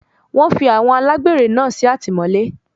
Wọ́n fi àwọn alágbèré náà sí àtìmọ́lé.